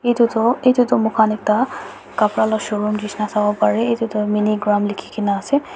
etu toh etu toh moikhan ekta kapra la showroom nishna sabo pare etu toh minigram likhigina ase.